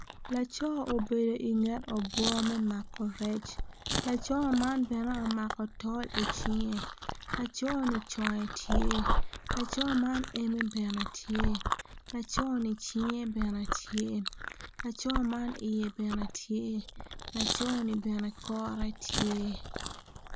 Laco obedo inget obwo me mako rec laco man bene omako tol icinge laconi conge tye laco man eme bene tye laconi cinge bene tye laco man iye bene tye laconi bene kore tye.